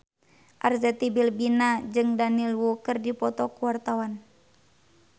Arzetti Bilbina jeung Daniel Wu keur dipoto ku wartawan